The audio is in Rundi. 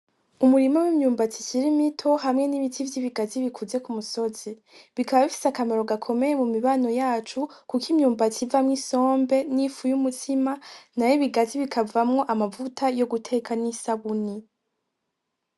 Umurima wimyumbati ikiri mito hamwe nibiti vyibigazi bikuze kumusozi. Bikaba bifise akamaro gakomeye mumibano yacu kuko imyumbati uvamwo isombe nifu yumutsima nayo ibigazi bikavamwo amavuta yo guteka nisabuni.